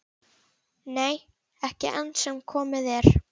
Nei, ekki enn sem komið er.